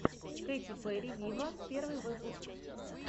кэти перри виво первый выпуск